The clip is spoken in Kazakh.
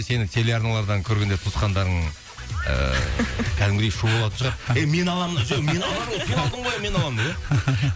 сені теле арналардан көргенде туысқандарың ыыы кәдімгідей шу болатын шығар ей мен аламын жоқ мен аламын сен алдың ғой мен аламын деп ия